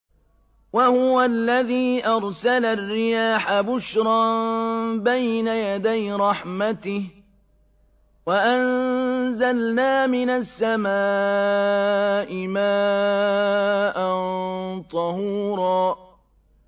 وَهُوَ الَّذِي أَرْسَلَ الرِّيَاحَ بُشْرًا بَيْنَ يَدَيْ رَحْمَتِهِ ۚ وَأَنزَلْنَا مِنَ السَّمَاءِ مَاءً طَهُورًا